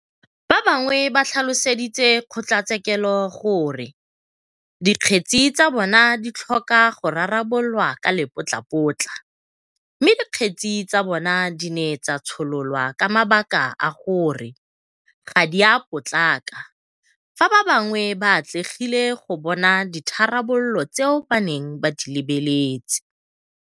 Ba bangwe ba tlhaloseditse kgotlatshekelo gore dikgetse tsa bona di tlhoka go rarabololwa ka lepotlapotla mme dikgetse tsa bona di ne tsa tshololwa ka mabaka a gore ga di a potlaka fa ba bangwe ba atlegile go bona ditharabololo tseo ba neng ba di lebeletse.